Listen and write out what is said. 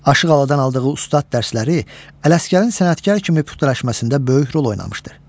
Aşıq Alıdan aldığı ustad dərsləri Ələsgərin sənətkar kimi püxtələşməsində böyük rol oynamışdır.